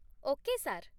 Okay, sir.